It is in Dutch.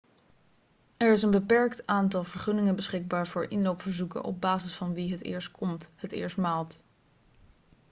er is een beperkt aantal vergunningen beschikbaar voor inloopverzoeken op basis van wie het eerst komt het eerst maalt